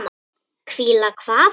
Hvíla hvað?